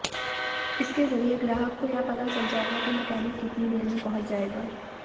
इसके जरिये ग्राहक को यह पता चल जायेगा कि मैकेनिक कितनी देर में पहुंच जायेगा